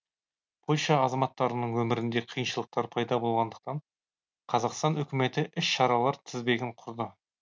польша азаматтарының өмірінде қиыншылықтар пайда болғандықтан қазақстан үкіметі іс шаралар тізбегін құрды